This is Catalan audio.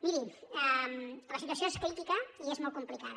miri la situació és crítica i és molt complicada